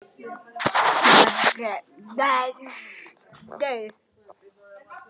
Margrét Geirs.